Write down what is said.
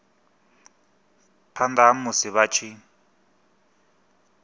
phanda ha musi vha tshi